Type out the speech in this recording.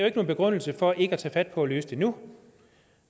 ikke nogen begrundelse for ikke at tage fat på at løse det nu